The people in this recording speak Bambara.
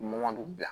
Mɔni bila